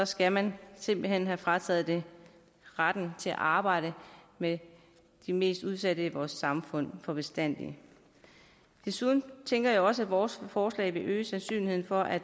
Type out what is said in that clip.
skal man simpelt hen have frataget retten til at arbejde med de mest udsatte i vores samfund for bestandig desuden tænker jeg også at vores forslag vil øge sandsynligheden for at